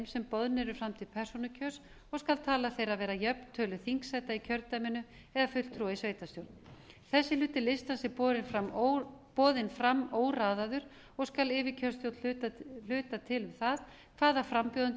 sem boðnir eru fram til persónukjörs og skal tala þeirra vera jöfn tölu þingsæta í kjördæminu eða fulltrúa í sveitarstjórn þessi hluti listans er boðinn fram óraðaður og skal yfirkjörstjórn hluta til um það hvaða frambjóðandi